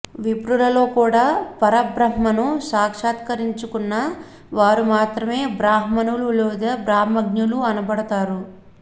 విప్రులలో కూడా పరబ్రహ్మను సాక్షాత్కరించుకున్న వారు మాత్రమే బ్రాహ్మణులు లేదా బ్రహ్మజ్ఞానులు అనబడుతారు